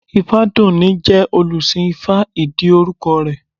Ifádùúní jẹ́ olùsìn ifá ìdí orúkọ rẹ̀